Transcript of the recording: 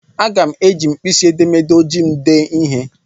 Aga n eji mkpịsị edemede ojii m dee ihe.